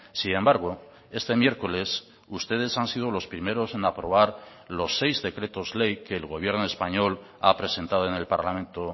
sin embargo este miércoles ustedes han sido los primeros en aprobar los seis decretos ley que el gobierno español ha presentado en el parlamento